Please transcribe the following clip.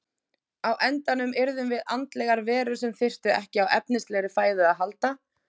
Á endanum yrðum við andlegar verur sem þyrftu ekki á efnislegri fæðu að halda.